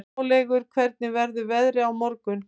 Háleygur, hvernig verður veðrið á morgun?